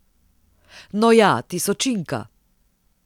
No ja, tisočinka.